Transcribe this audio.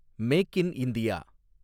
make in India